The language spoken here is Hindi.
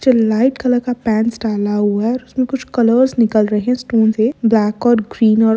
जो लाइट कलर का पेंट्स डाला हुआ है उसमें कुछ कलर निकल रहे है स्क्रीन से ब्लैक और ग्रीन और --